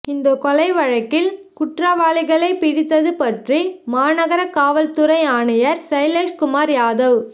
இந்தக் கொலை வழக்கில் குற்றவாளிகளைப் பிடித்தது பற்றி மாநகர காவல் துறை ஆணையர் சைலேஷ்குமார் யாதவ்